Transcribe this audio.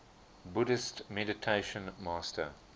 buddhist meditation master